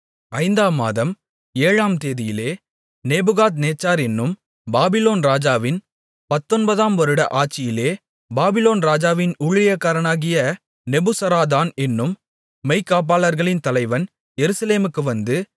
ஐந்தாம் மாதம் ஏழாம் தேதியிலே நேபுகாத்நேச்சார் என்னும் பாபிலோன் ராஜாவின் பத்தொன்பதாம் வருட ஆட்சியிலே பாபிலோன் ராஜாவின் ஊழியக்காரனாகிய நெபுசராதான் என்னும் மெய்க்காப்பாளர்களின் தலைவன் எருசலேமுக்கு வந்து